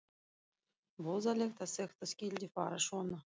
Voðalegt að þetta skyldi fara svona.